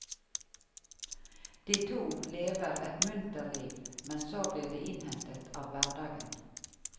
De to lever et munter liv, men så blir de innhentet av hverdagen.